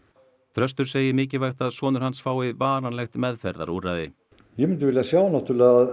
þröstur segir mikilvægt að sonur hans fái varanlegt meðferðarúrræði ég myndi vilja sjá að